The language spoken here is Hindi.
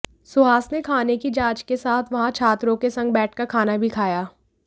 सुहास ने खाने की जांच के साथ वहां छात्रों के संग बैठकर खाना भी खाया